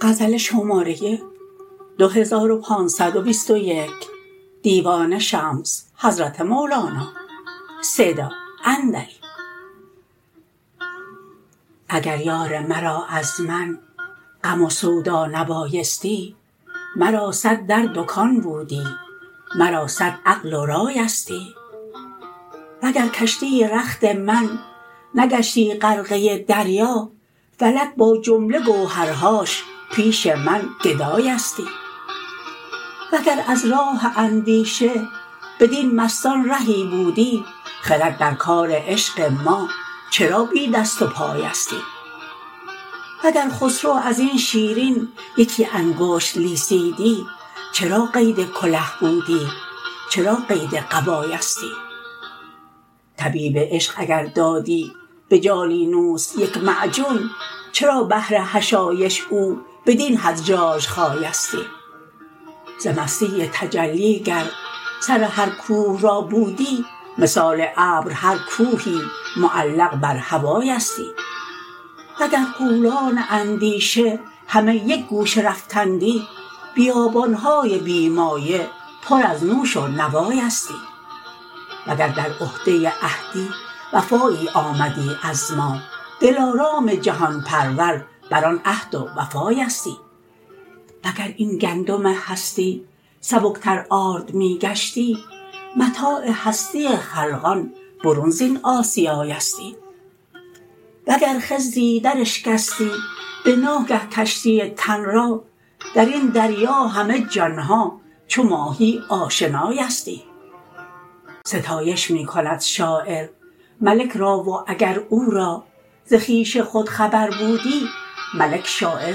اگر یار مرا از من غم و سودا نبایستی مرا صد در دکان بودی مرا صد عقل و رایستی وگر کشتی رخت من نگشتی غرقه دریا فلک با جمله گوهرهاش پیش من گدایستی وگر از راه اندیشه بدین مستان رهی بودی خرد در کار عشق ما چرا بی دست و پایستی وگر خسرو از این شیرین یکی انگشت لیسیدی چرا قید کله بودی چرا قید قبایستی طبیب عشق اگر دادی به جالینوس یک معجون چرا بهر حشایش او بدین حد ژاژخایستی ز مستی تجلی گر سر هر کوه را بودی مثال ابر هر کوهی معلق بر هوایستی وگر غولان اندیشه همه یک گوشه رفتندی بیابان های بی مایه پر از نوش و نوایستی وگر در عهده عهدی وفایی آمدی از ما دلارام جهان پرور بر آن عهد و وفایستی وگر این گندم هستی سبکتر آرد می گشتی متاع هستی خلقان برون زین آسیایستی وگر خضری دراشکستی به ناگه کشتی تن را در این دریا همه جان ها چو ماهی آشنایستی ستایش می کند شاعر ملک را و اگر او را ز خویش خود خبر بودی ملک شاعر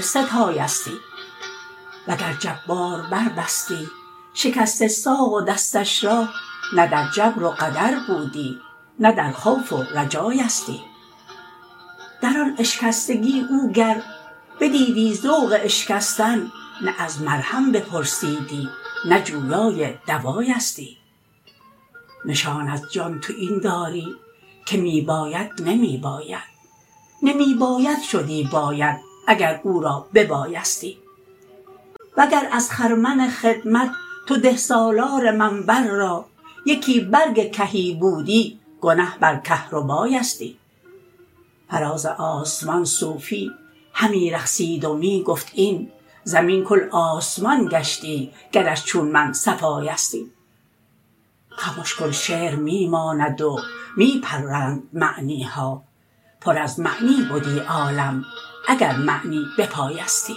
ستایستی وگر جبار بربستی شکسته ساق و دستش را نه در جبر و قدر بودی نه در خوف و رجایستی در آن اشکستگی او گر بدیدی ذوق اشکستن نه از مرهم بپرسیدی نه جویای دوایستی نشان از جان تو این داری که می باید نمی باید نمی باید شدی باید اگر او را ببایستی وگر از خرمن خدمت تو ده سالار منبل را یکی برگ کهی بودی گنه بر کهربایستی فراز آسمان صوفی همی رقصید و می گفت این زمین کل آسمان گشتی گرش چون من صفایستی خمش کن شعر می ماند و می پرند معنی ها پر از معنی بدی عالم اگر معنی بپایستی